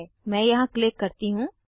मैं यहाँ क्लिक करती हूँ